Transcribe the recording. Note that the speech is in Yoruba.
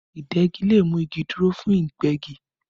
Ìdegi le mú igi dúró fún Ìgbẹ́gi